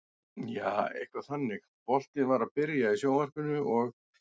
Jaa, eitthvað þannig, boltinn var að byrja í sjónvarpinu og.